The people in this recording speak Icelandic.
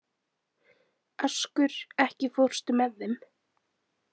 Askur, ekki fórstu með þeim?